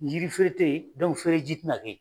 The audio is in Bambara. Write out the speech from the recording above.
Yiri feren te yen, feren ji te na kɛ yen.